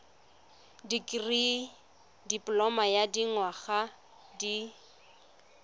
dikirii dipoloma ya dinyaga di